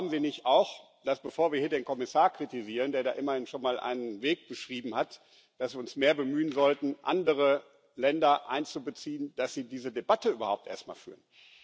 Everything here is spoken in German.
Und glauben Sie nicht auch, dass wir, bevor wir hier den Kommissar kritisieren, der da immerhin schon mal einen Weg beschrieben hat, uns mehr bemühen sollten, andere Länder einzubeziehen, dass sie diese Debatte überhaupt erst mal führen?